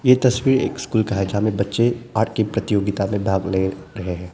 ये तस्वीर एक स्कूल का है जहां में बच्चे आर्ट की प्रतियोगिता में भाग ले रहे हैं।